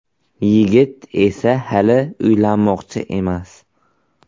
Yigit esa hali uylanmoqchi emas.